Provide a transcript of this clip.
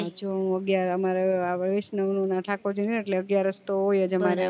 જો હું અગ્યાર અમે વિષ્ણુ ને ઠાકોર જીને એટલે અગ્યારસ તો હોયજ અમારે